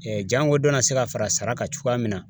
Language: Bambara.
jango dɔ na se ka fara sara kan cogoya min na